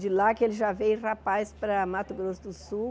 De lá que ele já veio rapaz para Mato Grosso do Sul.